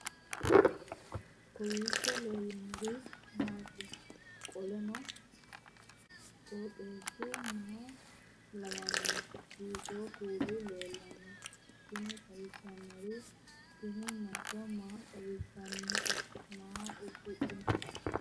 kowiicho leellannori maati ? qooxeessu maa lawaanno ? hiitoo kuuli leellanno ? tini xawissannori tini mancho maa xawissannote maa uddidhinote